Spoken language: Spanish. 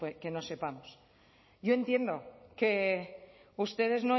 que no sepamos yo entiendo que ustedes